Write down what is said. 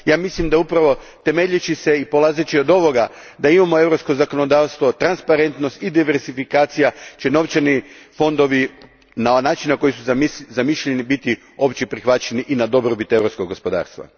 Ja mislim da će upravo temeljeći se i polazeći od ovoga da imamo europsko zakonodavstvo, transparentnost i diversifikaciju novčani fondovi biti, na način na koji su zamišljeni, opće prihvaćeni i na dobrobit europskog gospodarstva.